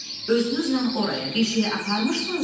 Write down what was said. Özünüzlə oraya bir şey aparmışdınızmı?